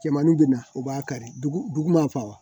Cɛmaninw bɛ na u b'a kari dugu ma fa wa